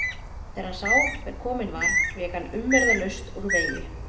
Þegar hann sá hver kominn var vék hann umyrðalaust úr vegi.